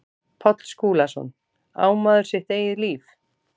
Páll Skúlason, Á maður sitt eigið líf?